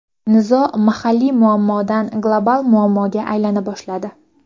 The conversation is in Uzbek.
Nizo mahalliy muammodan, global muammoga aylana boshladi.